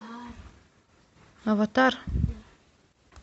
аватар